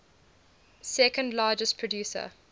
second largest producer